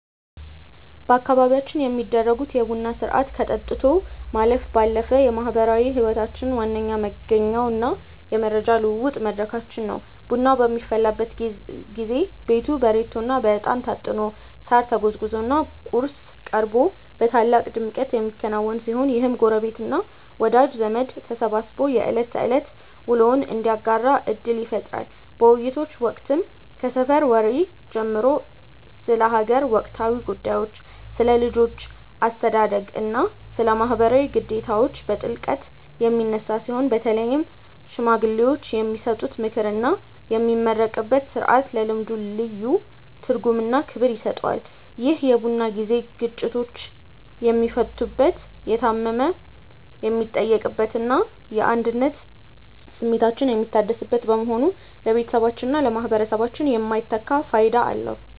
በአካባቢያችን የሚደረገው የቡና ሥርዓት ከጠጥቶ ማለፍ ባለፈ የማኅበራዊ ሕይወታችን ዋነኛ መገኛውና የመረጃ ልውውጥ መድረካችን ነው። ቡናው በሚፈላበት ጊዜ ቤቱ በሬቶና በዕጣን ታጥኖ፣ ሳር ተጎዝጉዞና ቁርስ ቀርቦ በታላቅ ድምቀት የሚከናወን ሲሆን፣ ይህም ጎረቤትና ወዳጅ ዘመድ ተሰባስቦ የዕለት ተዕለት ውሎውን እንዲያጋራ ዕድል ይፈጥራል። በውይይቶች ወቅትም ከሰፈር ወሬ ጀምሮ ስለ አገር ወቅታዊ ጉዳዮች፣ ስለ ልጆች አስተዳደግና ስለ ማኅበራዊ ግዴታዎች በጥልቀት የሚነሳ ሲሆን፣ በተለይም ሽማግሌዎች የሚሰጡት ምክርና የሚመረቅበት ሥርዓት ለልምዱ ልዩ ትርጉምና ክብር ይሰጠዋል። ይህ የቡና ጊዜ ግጭቶች የሚፈቱበት፣ የታመመ የሚጠየቅበትና የአንድነት ስሜታችን የሚታደስበት በመሆኑ ለቤተሰባችንና ለማኅበረሰባችን የማይተካ ፋይዳ አለው።